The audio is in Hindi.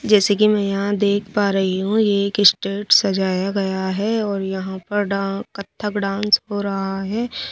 जैसे कि मै यहां देख पा रही हूं ये एक स्टेट सजाया गया है और यहां पर डा कथक डांस हो रहा है ।